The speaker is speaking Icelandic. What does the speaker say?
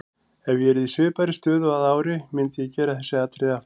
Ef ég yrði í svipaðri stöðu að ári myndi ég gera þessi atriði aftur.